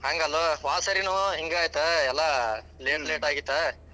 ಹಂಗಲ್ಲೊ ಹ್ವಾದ ಸಾರಿನು ಹಿಂಗ ಆಯ್ತ ಎಲ್ಲಾ late late ಆಗಿತ್ತ.